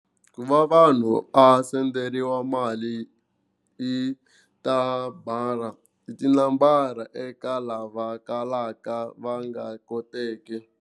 Ku va vanhu a senderiwa mali hi i tinambara eka lava kalaka va nga koteki.